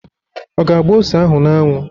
Ọ ga-agba ose ahụ n'anwụ?